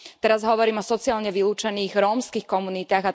Teraz hovorím o sociálne vylúčených rómskych komunitách.